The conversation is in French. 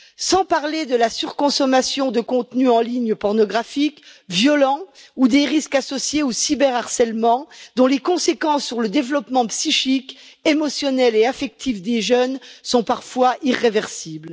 Sans parler de la surconsommation de contenus en ligne pornographiques et violents ou des risques associés au cyber harcèlement, dont les conséquences sur le développement psychique, émotionnel et affectif des jeunes sont parfois irréversibles.